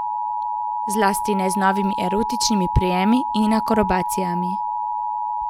Zlasti ne z novimi erotičnimi prijemi in akrobacijami.